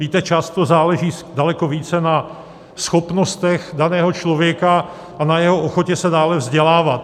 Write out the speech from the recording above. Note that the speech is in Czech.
Víte, často záleží daleko více na schopnostech daného člověka a na jeho ochotě se dále vzdělávat.